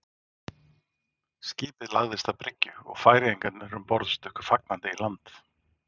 Skipið lagðist að bryggju og færeyingarnir um borð stukku fagnandi í land.